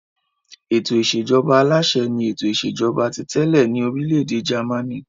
Ètò ìṣèjọba aláṣẹ ni ètò ìṣèjọba ti tẹ́lẹ̀ ní orílẹ̀-èdè Jámánì.